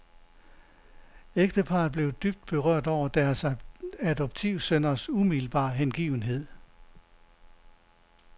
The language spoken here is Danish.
Ægteparret blev dybt berørte over deres adoptivsønners umiddelbare hengivenhed.